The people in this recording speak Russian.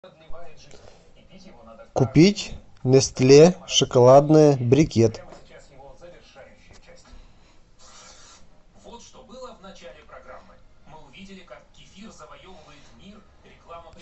купить нестле шоколадное брикет